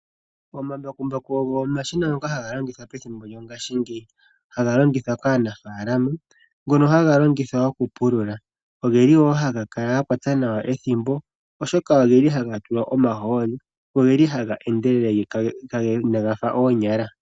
Omambakumbaku ogo omashina ngoka haga longithwa methimbo lyongashingeyi haga longithwa kaanafaalama haga longithwa okupulula. Ohaga kwata nawa ethimbo oshoka ohaga tulwa omahooli, ohaga endelele inaga fa oonyala.